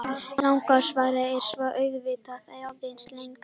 Langa svarið er svo auðvitað aðeins lengra.